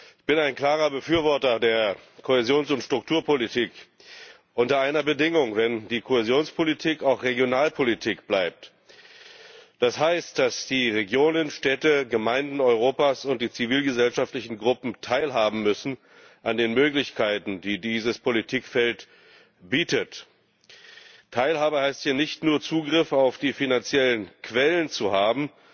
Ich bin ein klarer Befürworter der Kohäsions und Strukturpolitik, unter einer Bedingung dass die Kohäsionspolitik auch Regionalpolitik bleibt. Das heißt, dass die Regionen, Städte und Gemeinden Europas sowie die zivilgesellschaftlichen Gruppen teilhaben müssen an den Möglichkeiten, die dieses Politikfeld bietet. Teilhabe heißt hier nicht nur, Zugriff auf die finanziellen Quellen zu haben,